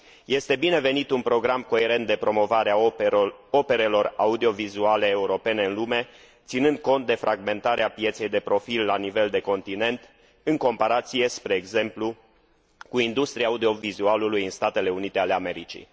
Este binevenit un program coerent de promovare a operelor audiovizuale europene în lume, ținând cont de fragmentarea pieței de profil la nivel de continent, în comparație, spre exemplu, cu industria audiovizualului în Statele Unite ale Americii.